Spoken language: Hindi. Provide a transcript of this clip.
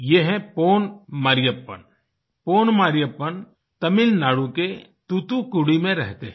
ये हैं पोन मरियप्पन पोन मरियप्पन तमिलनाडु के तुतुकुड़ी में रहते है